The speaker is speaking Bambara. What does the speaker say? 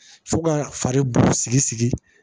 Fo ka fari bu sigi sigi